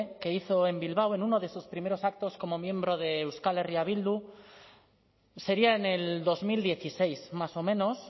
que hizo en bilbao en uno de sus primeros actos como miembro de euskal herria bildu sería en el dos mil dieciséis más o menos